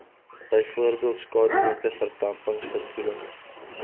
bv skadunette verdampingsverkoeling